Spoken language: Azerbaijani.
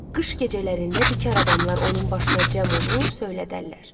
Qış gecələrində bikar adamlar onun başına cəm olub söylədərlər.